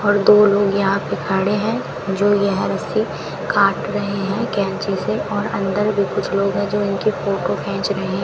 और दो लोग यहां पे खड़े हैं जो ऐहरसे काट रहे है कैंची से और अंदर भी कुछ लोग है जो उनकी फोटो खेंच रहे।